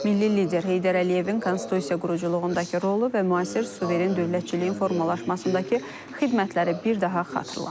Milli lider Heydər Əliyevin konstitusiya quruculuğundakı rolu və müasir suveren dövlətçiliyin formalaşmasındakı xidmətləri bir daha xatırlanıb.